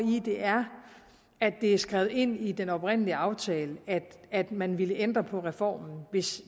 det er at det er skrevet ind i den oprindelige aftale at man ville ændre på reformen hvis